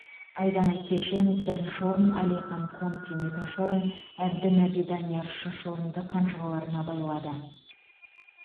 айдана кешен бірінші орын алихан конкин екінші орын әбдінаби данияр үшінші орынды қанжығаларына байлады